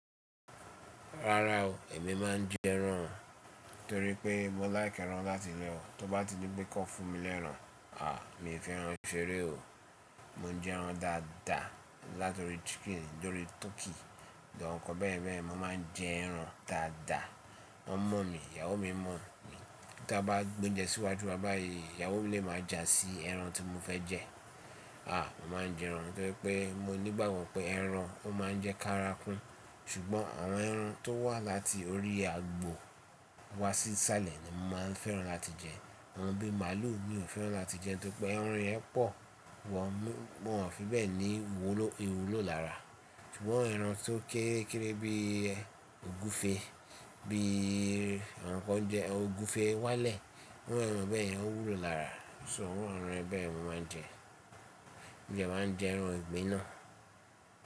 Rárá o, èmi máa ń jẹ ẹran torí pé mo láìkẹ́ ẹran láti lẹ́ ọ, tó bá ti dí pé kọn fún mi lẹ́ran, à mi ò fẹ́ran ṣeré o. Mo n jẹ ẹran dáadáa látọ̀rí chicken, torí turkey àwọn nǹkan bẹ́ẹ̀ bẹ́ẹ̀, mo máa ń jẹ ẹran dáadáa. Wọ́n mọ̀ mí, ìyàwó mi mọ̀ mi. Ta a bá gbé oúnjẹ síwájú wa báyìí, ìyàwó mi lè máa ja sí ẹran tí mo fẹ́ jẹ. À mo máa ń jẹ ẹran gẹ́gẹ́ pé mo nígbàgbọ́ pé ẹran o máa ń jẹ́ kárakún, ṣùgbọ́n àwọn ẹran tó wà láti orí egbò wá sí sálẹ̀ ni mo máa ń fẹ́ràn láti jẹ. Àwọn bí màálù mi ò fẹ́ràn láti jẹ nítorí pé ẹran yẹn pọ̀ wọ́n, wọ́n ò fi bẹ́ẹ̀ ní ìwúlò lára. Ṣùgbọ́n ẹran tó kéré kéré bí ogúfe, bí àwọn nǹkan jẹ ogúfe wálẹ̀, àwọn ẹran bẹ́ẹ̀ o wúlò lára, ṣo irú àwọn ẹran bẹ́ẹ̀ mo máa ń jẹ. Mo dẹ́ máa jẹ ẹran ìgbín náà?